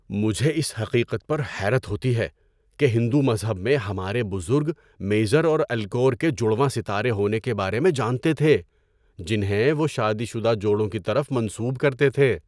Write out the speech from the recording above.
مجھے اس حقیقت پر حیرت ہوتی ہے کہ ہندو مذہب میں ہمارے بزرگ میزر اور الکور کے جڑواں ستارے ہونے کے بارے میں جانتے تھے جنہیں وہ شادی شدہ جوڑوں کی طرف منسوب کرتے تھے۔